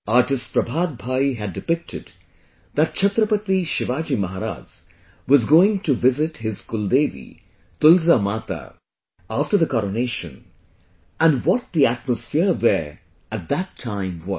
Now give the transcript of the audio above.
Artist Prabhat Bhai had depicted that Chhatrapati Shivaji Maharaj was going to visit his Kuldevi 'Tulja Mata' after the coronation, and what the atmosphere there at that time was